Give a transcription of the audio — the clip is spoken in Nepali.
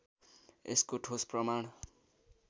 यसको ठोस प्रमाण